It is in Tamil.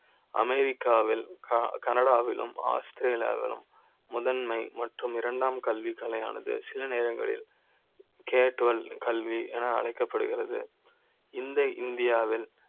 அமெரிக்கா வில் கனடா விலும், ஆஸ்திரேலியா விலும் முதன்மை மற்றும் இரண்டாம் கல்வி கலை யானது சில நேரங்களில் கேட்ட ல் கல்வி என அழைக்க ப்படுகிறது இந்த இந்தியா வில்